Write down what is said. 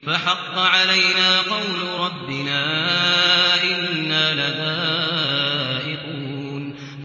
فَحَقَّ عَلَيْنَا قَوْلُ رَبِّنَا ۖ إِنَّا لَذَائِقُونَ